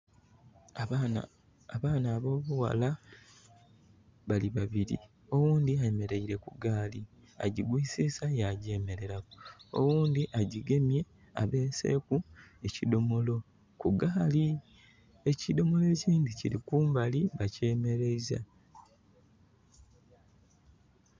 Abaana abobughala bali babiri oghundhi ayemeleire kugali agigwisisa yagyemeleraku, oghundhi agigemye, agibeseku ekidhomolo kugali ekidhomalo ekindhi kiri kumbali bakyemeleiza.